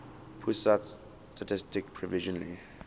pusat statistik provisionally